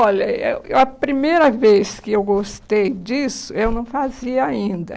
Olha eu a primeira vez que eu gostei disso, eu não fazia ainda.